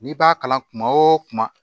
N'i b'a kalan kuma o kuma